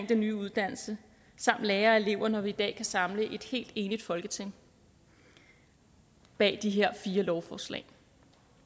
den nye uddannelse samt lærere og elever når vi i dag kan samle et helt enigt folketing bag de her fire lovforslag